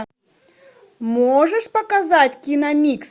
можешь показать киномикс